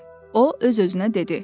O öz-özünə dedi.